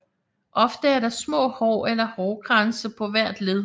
Ofte er der små hår eller hårkranse på hvert led